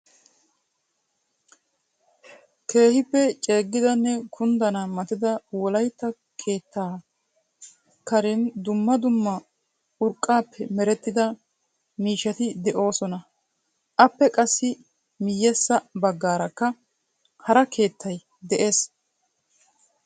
Keehippe ceegidanne kunddana matida wolaytta keettaa karen dumma dumma urqqappe merettida miishshati de'oosona. Appe qassi miyyessa baggaarakka hara keettay de'ees.